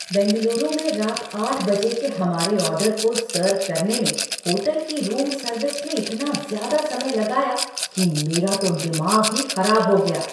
बेंगलुरु में रात आठ बजे के हमारे ऑर्डर को सर्व करने में होटल की रूम सर्विस ने इतना ज़्यादा समय लगाया कि मेरा तो दिमाग ही खराब हो गया।